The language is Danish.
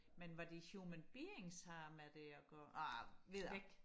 men hvad de human beings har med det og gøre ah videre